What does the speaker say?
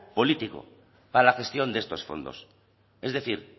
político para la gestión de estos fondos es decir